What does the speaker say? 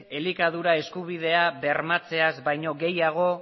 elikadura eskubidea bermatzeaz baino gehiago